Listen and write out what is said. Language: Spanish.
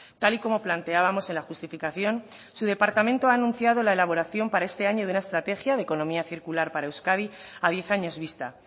tal y como planteábamos en la justificación su departamento ha anunciado la elaboración para este año de una estrategia de economía circular para euskadi a diez años vista